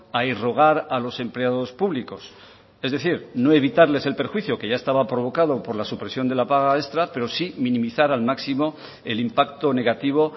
a irrogar a los empleados públicos es decir no evitarles el perjuicio que ya estaba provocado por la supresión de la paga extra pero sí minimizar al máximo el impacto negativo